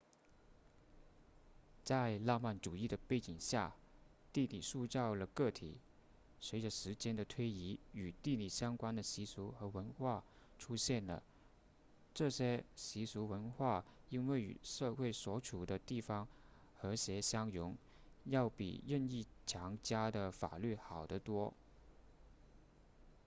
在浪漫主义的背景下地理塑造了个体随着时间的推移与地理相关的习俗和文化出现了这些习俗文化因为与社会所处的地方和谐相融要比任意强加的法律好得多